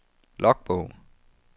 logbog